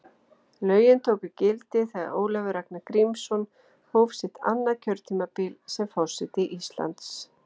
Lögin tóku gildi þegar Ólafur Ragnar Grímsson hóf sitt annað kjörtímabil sem forseti Íslands.